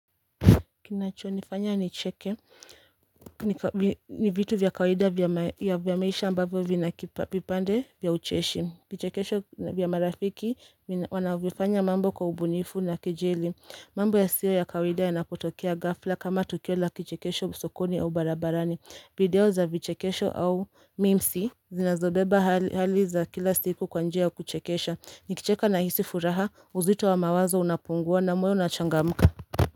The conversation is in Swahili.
Kinacho nifanya ni cheke ni vitu vyakawida ya vyamaisha ambavyo vina vipande vya ucheshi vichekesho vyamarafiki wanavyofanya mambo kwa ubunifu na kejeli mambo ya siyo ya kawida ya napotokea ghafla kama tukio la kichekesho sokoni au barabarani video za vichekesho au mimsi zinazobeba hali za kila siku kwanjia ya kuchekesha nikicheka na hisi furaha uzito wa mawazo unapungua na moyo unachangamka.